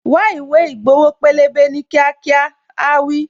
Wá ìwé ìgbowo pélébé ní kíákíá', áá wí.